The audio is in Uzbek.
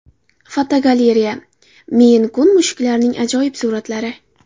Fotogalereya: Meyn-kun mushuklarining ajoyib suratlari.